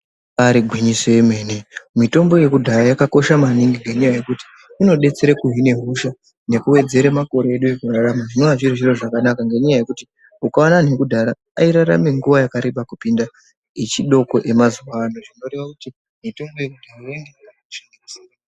Ibari gwinyiso yemene mitombo yekudhaya yakakosha maningi ngenyaya yekuti inodetsere kuhine hosha nekuwedzere makore edu ekurarama zvinova zviri zviro zvakanaka ngenyaya yekuti ukaona antu ekudhara airarama nguwa yakareba kupinde yechidoko yemazuwa ano zvinorwva kuti mutombo yekudhaya yainge yakakosha ngekusi.